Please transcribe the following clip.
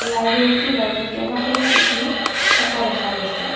লাইবেৰীটোৰ মাজত কেইবাখনো চকী থকা দেখা গৈছে।